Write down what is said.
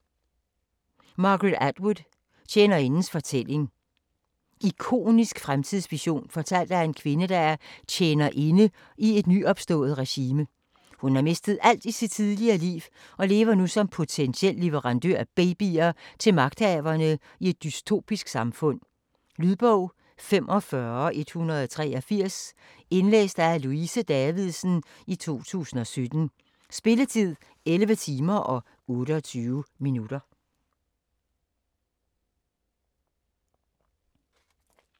Atwood, Margaret: Tjenerindens fortælling Ikonisk fremtidsvision fortalt af en kvinde, der er "tjenerinde" i et nyopstået regime. Hun har mistet alt i sit tidligere liv og lever nu som potentiel leverandør af babyer til magthaverne i et dystopisk samfund. Lydbog 45183 Indlæst af Louise Davidsen, 2017. Spilletid: 11 timer, 28 minutter.